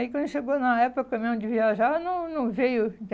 Aí quando chegou na época que foi mesmo de viajar, não não veio.